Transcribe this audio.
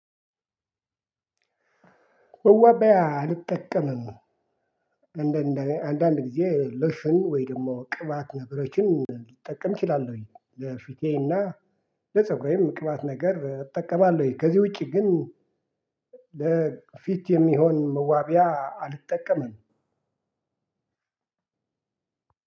ወበያ አልጠቀምም። እንደ አንዳንድ ጊዜ ሎሽን ወይ ደግሞ ቅባት ነገሮችን ልጠቀም እችላለሁኝ ለፊቴና ለፀጉሬም ቅባት ነገር እጠቀማለሁኝ። ከዚህ ውጪ ግን ለፊት የሚሆን መዋቢያ አልጠቀምም።